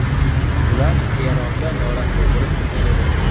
Ular Eronda norasmiy bo‘lib turgan edi.